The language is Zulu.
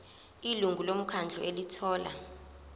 ilungu lomkhandlu elithola